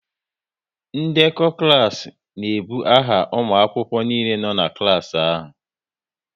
Ndekọ klas n'ebu aha ụmụ akwụkwọ niile nọ n'klas ahụ